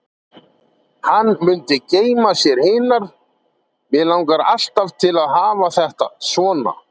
Hann mundi geyma sér hinar: Mig langar alltaf til að hafa þetta svona.